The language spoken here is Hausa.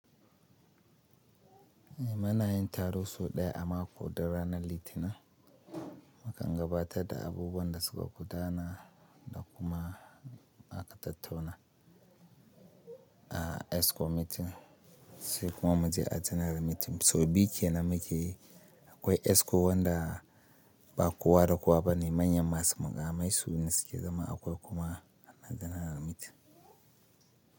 Eh muna yin taro sau ɗaya a mako duk ranar Litinin. Mukan gabatar da abubuwan da suka gudana da kuma aka tattuna a ESCO meeting sai kuma muje a General meeting. So biyu kenan muke akwai ESCO wanda ba kowa da kowa bane manyan masu muƙamai su ne suke zama akwai kuma na General meeting.